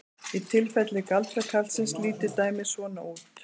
Í tilfelli galdrakarlsins lítur dæmið svona út: